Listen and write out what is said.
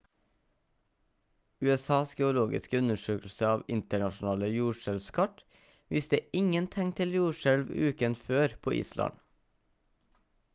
usas geologiske undersøkelse av internasjonale jordskjelvskart viste ingen tegn til jordskjelv uken før på island